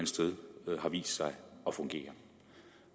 sted har vist sig at fungere